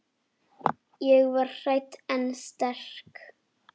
Ég var hrædd en sterk.